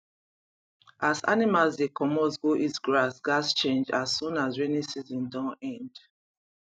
as animals dey comot go eat grass gaz change as soon as rainy season don end